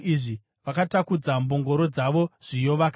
vakatakudza mbongoro dzavo zviyo vakaenda.